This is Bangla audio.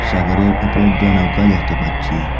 সাগরের উপর দিয়ে নৌকা দেখতে পারছি।